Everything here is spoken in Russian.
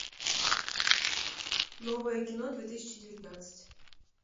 новое кино две тысячи девятнадцать